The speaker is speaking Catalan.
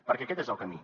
perquè aquest és el camí